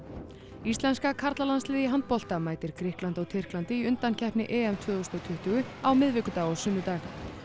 íslenska karlalandsliðið í handbolta mætir Grikklandi og Tyrklandi í undankeppni tvö þúsund og tuttugu á miðvikudag og sunnudag